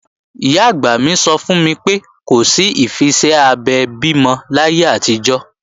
Ìyá-àgbà mi sọ fún mi pé, kò sí ìfiṣẹ́ abẹ bímọ láyé àtijọ́